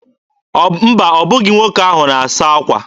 Mba, ọ bụghị nwoke ahụ na-asa akwa.